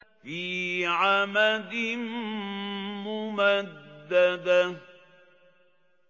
فِي عَمَدٍ مُّمَدَّدَةٍ